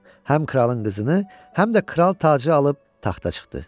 Həm kralın qızını, həm də kral tacı alıb taxta çıxdı.